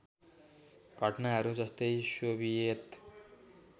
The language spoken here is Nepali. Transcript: घटनाहरू जस्तै सोभियत